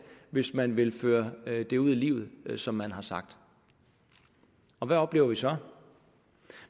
hvis man vil føre det ud i livet som man har sagt hvad oplever vi så